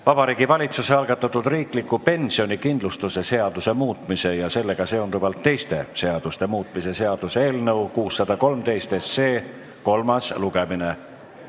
Vabariigi Valitsuse algatatud riikliku pensionikindlustuse seaduse muutmise ja sellega seonduvalt teiste seaduste muutmise seaduse eelnõu 613 kolmas lugemine.